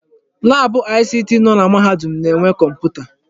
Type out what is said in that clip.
Laabụ ICT nọ na mahadum na-enwe kọmputa.